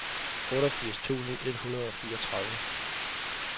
otteogfirs tusind et hundrede og fireogtredive